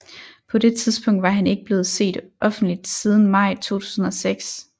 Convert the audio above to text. På det tidspunkt var han ikke blevet set offentligt siden maj 2006